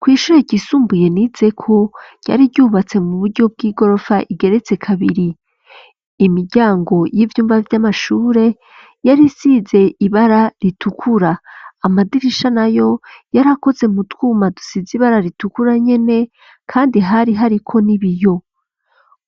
Kw'ishure ryisumbuye nizeko ryari ryubatse mu buryo bw'igorofa igeretse kabiri. Imiryango y'ivyumba vy'amashure yari isize ibara ritukura. Amadirisha nayo yari akoze mu twuma dusize ibara ritukura nyene kandi hari hariko n'ibiyo.